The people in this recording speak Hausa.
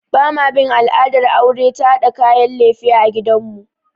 Ba ma bin al'adar aure ta haɗa kayan lefe a gidan mu